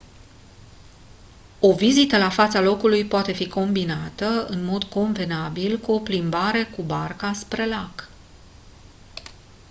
o vizită la fața locului poate fi combinată în mod convenabil cu o plimbare cu barca spre lac